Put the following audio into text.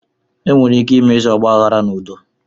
Enwere ike imezi ọgbaaghara n'udo.